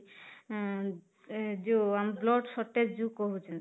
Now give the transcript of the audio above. ଅଂ ଏଂ ଯୋଉ blood shortage ଯୋଉ କହୁଛେ